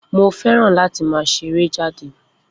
Mo fẹ́ràn láti máa ṣe eré jáde